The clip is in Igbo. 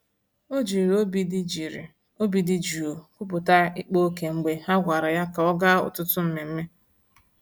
O jiri obi dị jiri obi dị jụụ kwupụta ịkpa ókè mgbe ha gwara ya ka ọ gaa ọtụtụ mmemme.